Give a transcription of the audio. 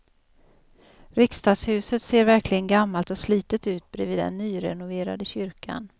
Riksdagshuset ser verkligen gammalt och slitet ut bredvid den nyrenoverade kyrkan.